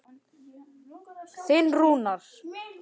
Þinn Rúnar.